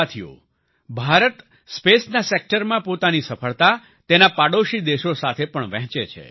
સાથિઓ ભારત સ્પેસના સેક્ટરમાં પોતાની સફળતા તેના પડોશી દેશો સાથે પણ વહેંચે છે